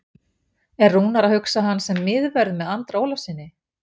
Er Rúnar að hugsa hann sem miðvörð með Andra Ólafssyni?